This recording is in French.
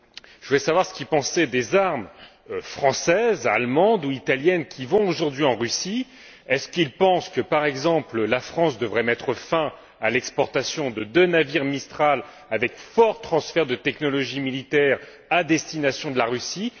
Je voudrais savoir ce que vous pensez des armes françaises, allemandes ou italiennes qui vont aujourd'hui en Russie. Pensez vous, par exemple, que la France devrait mettre fin à l'exportation de deux navires Mistral avec fort transfert de technologie militaire à destination de la Russie?